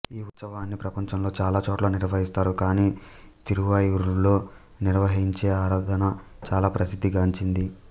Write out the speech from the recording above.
ఈ ఉత్సవాన్ని ప్రపంచంలో చాలాచోట్ల నిర్వహిస్తారు కానీ తిరువయ్యూరులో నిర్వహించే ఆరాధన చాలా ప్రసిద్ధి గాంచింది